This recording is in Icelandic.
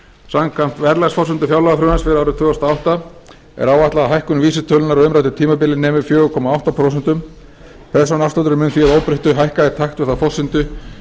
samkvæmt verðlagsforsendum fjárlagafrumvarps fyrir árið tvö þúsund og átta er áætlað að hækkun vísitölunnar á umræddu tímabili nemi fjóra komma átta prósent persónuafslátturinn mun því að óbreyttu hækka í takt við þá forsendu